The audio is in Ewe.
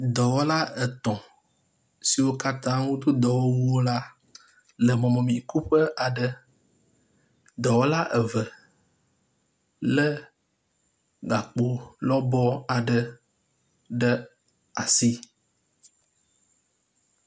dɔwɔla etɔ̃ siwó katã dó dɔwɔwu la le mɔmemi kuƒe aɖe dɔwɔla eve le gakpo lɔbɔ aɖe ɖe asi